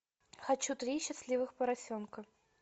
хочу три счастливых поросенка